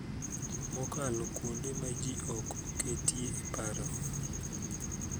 Mokalo kuonde ma ji ok oketie e paro